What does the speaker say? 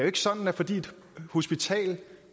ikke sådan at fordi et hospital